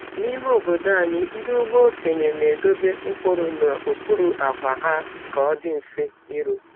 N’ime obodo anyị, ndị ugbo okenye na-edobe mkpụrụ n’okpuru akwa ha ka ọ dị mfe iru.